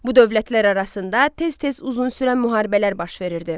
Bu dövlətlər arasında tez-tez uzun sürən müharibələr baş verirdi.